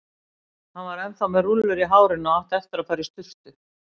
Hún var ennþá með rúllur í hárinu og átti eftir að fara í sturtu.